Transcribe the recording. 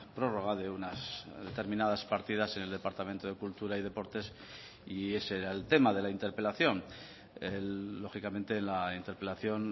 prórroga de unas determinadas partidas en el departamento de cultura y deportes y ese era el tema de la interpelación lógicamente la interpelación